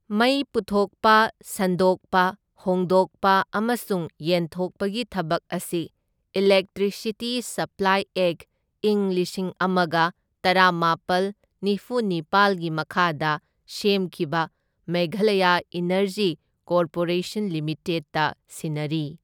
ꯃꯩ ꯄꯨꯊꯣꯛꯄ, ꯁꯟꯗꯣꯛꯄ, ꯍꯣꯡꯗꯣꯛꯄ ꯑꯃꯁꯨꯡ ꯌꯦꯟꯊꯣꯛꯄꯒꯤ ꯊꯕꯛ ꯑꯁꯤ ꯏꯂꯦꯛꯇ꯭ꯔꯤꯁꯤꯇꯤ ꯁꯞꯄ꯭ꯂꯥꯏ ꯑꯦꯛꯠ, ꯢꯪ ꯂꯤꯁꯤꯡ ꯑꯃꯒ ꯇꯔꯥꯃꯥꯄꯜ ꯅꯤꯐꯨꯅꯤꯄꯥꯜꯒꯤ ꯃꯈꯥꯗ ꯁꯦꯝꯈꯤꯕ ꯃꯦꯘꯂꯌꯥ ꯏꯅꯔꯖꯤ ꯀꯣꯔꯄꯣꯔꯦꯁꯟ ꯂꯤꯃꯤꯇꯦꯗꯇ ꯁꯤꯟꯅꯔꯤ꯫